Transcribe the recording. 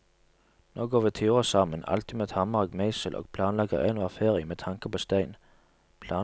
Nå går vi turer sammen, alltid med hammer og meisel, og planlegger enhver ferie med tanke på stein.